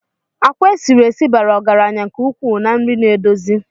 Àkwá esi nri bara ọgaranya nke ukwuu na ndi naedozi